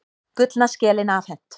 Gullna skelin afhent